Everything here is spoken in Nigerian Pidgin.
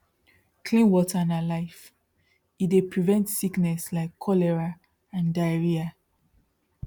clean water na life e dey prevent sickness like cholera and diarrhea